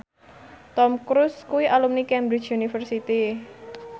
Tom Cruise kuwi alumni Cambridge University